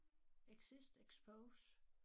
Exist expose